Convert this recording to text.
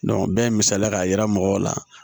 bɛɛ ye misaliya k'a yira mɔgɔw la